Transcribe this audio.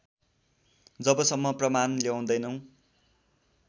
जबसम्म प्रमाण ल्याउँदैनौ